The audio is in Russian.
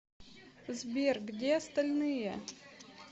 сбер где остальные